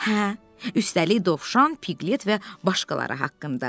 Hə, üstəlik dovşan, Piqlet və başqaları haqqında.